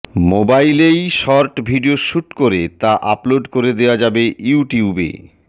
মোবাইলেই short video shoot করে তা আপলোড করে দেওয়া যাবে ইউটিউবে